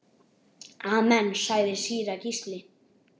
Amen, sagði síra Gísli.